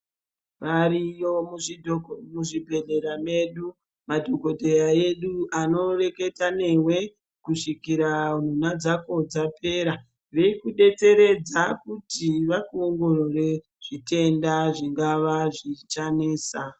Variyo muzvibhehlera medu, madhokoteya edu anoreketa newe kusvika nha dzako dzapera. Zvirikudetseredza kuti vakuongorore zvitenda zvingava zvichinesa.